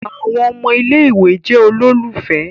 Àwọn ọmọ ilé-ìwé jẹ ololufẹ.